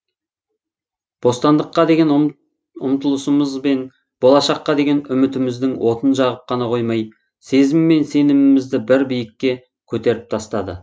бостандыққа деген ұмтылысымыз бен болашаққа деген үмітіміздің отын жағып қана қоймай сезім мен сенімімізді бір биікке көтеріп тастады